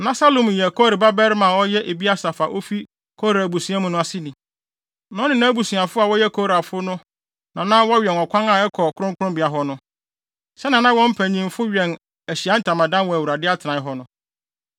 Na Salum yɛ Kore babarima a ɔyɛ Ebiasaf a ofi Kora abusua mu aseni. Na ɔne nʼabusuafo a wɔyɛ Korafo no na na wɔwɛn ɔkwan a ɛkɔ kronkronbea hɔ no, sɛnea na wɔn mpanyimfo wɛn Ahyiae Ntamadan wɔ Awurade atenae hɔ no.